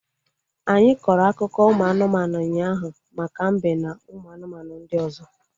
Anyị kọrọ akụkọ ụmụ anụmanụ ụnyaahụ maka mbe na ụmụ anụmanụ ndị ọzọ